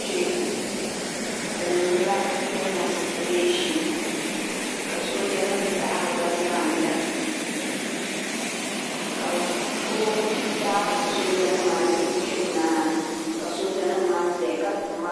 kpe bɛ niŋdila demositiresa ka sooja nima taɣari ba zaana ka bɛ daari sooja nima maa ni bɛ kpe nimaani ka sooja nima maa zaya ka gbibi marafa.